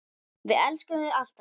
Við elskum þig, alltaf.